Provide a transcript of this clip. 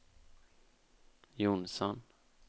Jonsson